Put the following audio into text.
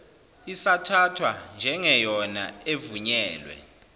isathathwa njengeyona evunyelwe